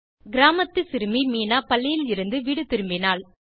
கிராமத்து சிறுமி மீனா பள்ளியிலிருந்து வீடு திரும்பினாள்